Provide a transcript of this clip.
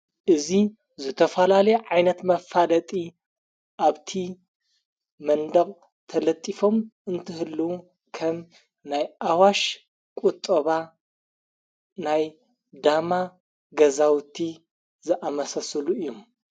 እዙ ዘተፈላለ ዓይነት መፋደጢ ኣብቲ መንድቕ ተለጢፎም እንትህሉዉ ከም ናይ ኣዋሽ ቊጦባ ናይ ዳማ ገዛውእቲ ዝኣመሰስሉ እዩ።